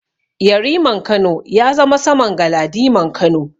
Yariman Kano ya zama saman Galadiman Kano.